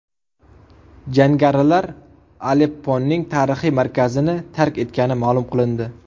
Jangarilar Alepponing tarixiy markazini tark etgani ma’lum qilindi.